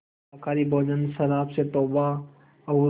शाकाहारी भोजन शराब से तौबा और